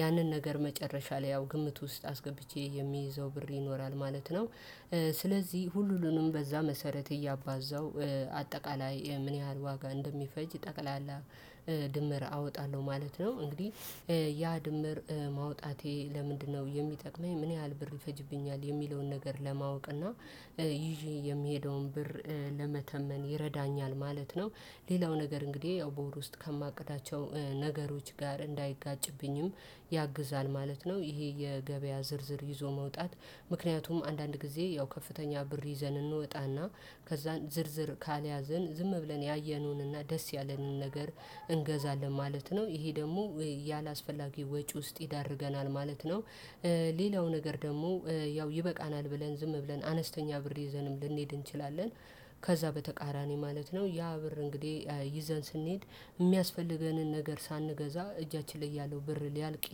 ያንን ነገር መጨረሻ ላይ ያው ግምት ውስጥ አስገብቼ የሚይዘው ብር ይኖራል ማለት ነው። ስለዚህ ሁሉንም በዛ መሰረት እያባዛው አጠቃላይ ምን ያህል ዋጋ እንደሚፈጅ ጠቅላላ ድምር አወጣለሁ ማለት ነው። እንግዲህ ያ ድምር ማውጣቴ ለምንድነው? የሚጠቅመኝ ምን ያህል ብር ይፈጅብኛል የሚለውን ነገር ለማወቅ እና ይዤ የምሄደውን ብር ለመተመን ይረዳኛል ማለት ነው። ሌላው ነገር እንግዲህ ያው በወር ውስጥ ከማቅዳቸው ነገሮች ጋር እንዳይጋጭብኝም ያግዛል ማለት ነው። ይሄ የገበያ ዝርዝር ይዞ መውጣት ምክንያቱም አንዳንድ ጊዜ ያው ከፍተኛ ብር ይዘን እንወጣና ከዛን ዝርዝር ካልያዘን ዝም ብለን ያየነውንና ደስ ያለነውን ነገር እንገዛለን ማለት ነው። ይሄ ደግሞ ያላስፈላጊ ወጪ ውስጥ ይዳርገናል ማለት ነው። ሌላው ነገር ደግሞ ያው ይበቃናል ብለን ዝም ብለን አነስተኛ ብር ሊይዘንም ልንሄድ እንችላለን። ከዛ በተቃራኒ ማለት ነው ያ ብር እንግዲህ ይዘን ስንሄድ የሚያስፈልገንን ነገር ሳንገዛ እጃችን ላይ ያለው ብር ሊያልቅ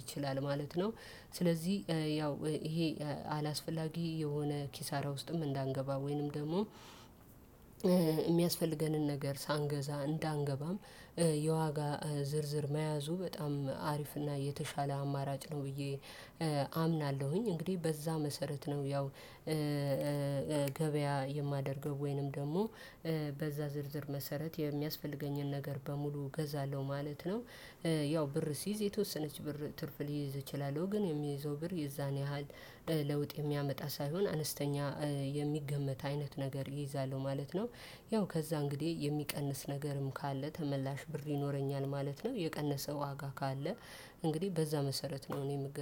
ይችላል ማለት ነው። ስለዚህ ያው ይሄ አላስፈላጊ የሆነ ኪሳራ ውስጥም እንዳንገባ ወይንም ደግሞ የሚያስፈልገንን ነገር ሳንገዛ እንዳንገባም የዋጋ ዝርዝር መያዙ በጣም አሪፍና የተሻለ አማራጭ ነው። ብዬ አምናለሁኝ። እንግዲህ በዛ መሰረት ነው ያው ገበያ የማደርገው ወይንም ደግሞ በዛ ዝርዝር መሰረት የሚያስፈልገኝን ነገር በሙሉ እገዛለሁ ማለት ነው። ያው ብር ሲይዝ የተወሰነች ብር ትርፍ ሊይዝ ይችላል ግን የሚይዘው ብር የዛን ያህል ለውጥ የሚያመጣ ሳይሆን አነስተኛ የሚገመት አይነት ነገር ይይዛለሁ ማለት ነው። ያው ከዛ እንግዲህ የሚቀንስ ነገርም ካለ ተመላሽ ብር ይኖረኛል ማለት ነው። የቀነሰ ዋጋ ካለ እንግዲህ በዛ መሰረት ነው እኔ የምገበያው